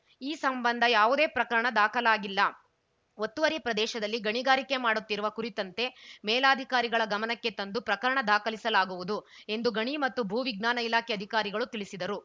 ಈ ಸಂಬಂಧ ಯಾವುದೇ ಪ್ರಕರಣ ದಾಖಲಾಗಿಲ್ಲ ಒತ್ತುವರಿ ಪ್ರದೇಶದಲ್ಲಿ ಗಣಿಗಾರಿಕೆ ಮಾಡುತ್ತಿರುವ ಕುರಿತಂತೆ ಮೇಲಧಿಕಾರಿಗಳ ಗಮನಕ್ಕೆ ತಂದು ಪ್ರಕರಣ ದಾಖಲಿಸಲಾಗುವುದು ಎಂದು ಗಣಿ ಮತ್ತು ಭೂ ವಿಜ್ಞಾನ ಇಲಾಖೆ ಅಧಿಕಾರಿಗಳು ತಿಳಿಸಿದರು